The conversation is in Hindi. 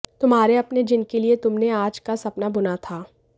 तुम्हारे अपने जिनके लिए तुमने आज का सपना बुना था